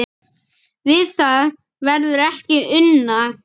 Við það verður ekki unað